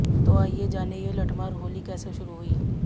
तो आइए जानें ये लठमार होली कैसे शुरू हुई